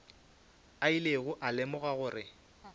a ilego a lemoga gore